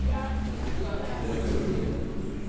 litteraturen